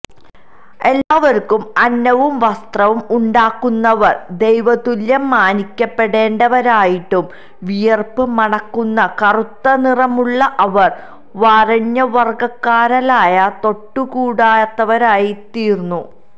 എല്ലാവര്ക്കും അന്നവും വസ്ത്രവും ഉണ്ടാക്കുന്നവര് ദൈവതുല്യം മാനിക്കപ്പെടേണ്ടവരായിട്ടും വിയര്പ്പ് മണക്കുന്ന കറുത്ത നിറമുള്ള അവര് വരേണ്യവര്ഗ്ഗക്കാരാല് തൊട്ടുകൂടാത്തവരായിത്തീര്ന്നു